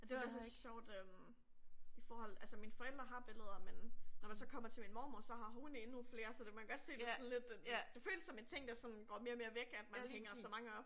Jeg har et sjovt øh forhold. Altså mine forældre har billeder, men når man så kommer til min mormor så har hun endnu flere, så det man kan godt se det sådan lidt et øh det føles som en ting der sådan går mere og mere væk at man hænger så mange op